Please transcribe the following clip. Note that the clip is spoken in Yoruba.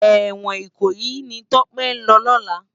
Èwòn Ikoyi ni Tope n lò lòlá